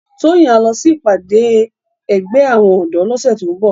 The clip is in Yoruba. Toyin á lò si ipàdé ègbè áwòn òdò lòsè tó n bò